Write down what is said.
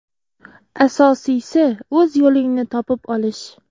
Asosiysi, o‘z yo‘lingni topib olish.